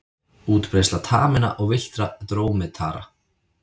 Útbreiðsla taminna og villtra drómedara.